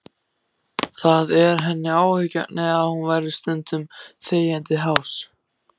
Það er henni áhyggjuefni að hún verður stundum þegjandi hás.